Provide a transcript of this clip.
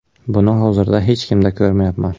Buni hozirda hech kimda ko‘rmayapman.